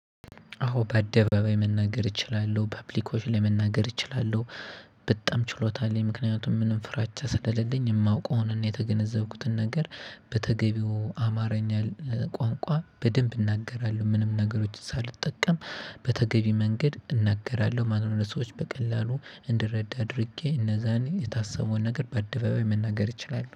አዎ በአደባባይ መናገር እችላለሁ በአፕሊኮች ላይ መናገር እችላለሁ። በጣም ችሎታ አለኝ ምክንያቱም ምንም ፍራቻ ስለሌለኝ የማውቀውን የተገነዘብኩትን ነገር በተገቢው አማርኛ ቋንቋ በደንብ እናገራለሁ። ምንም ነገሮች ሳልጠቀም በተገቢ መንገድ እናገራለሁ። ማንም ለሰዎች በቀላሉ እንድረዳ አድርጌ እነዛን የታሰበውን ነገር በአደባባይ መናገር እችላለሁ